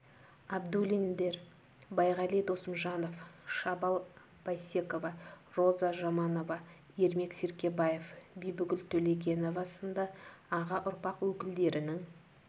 абдуллиндер байғали досымжанов шабал бейсекова роза жаманова ермек серкебаев бибігүл төлегенова сынды аға ұрпақ өкілдерінің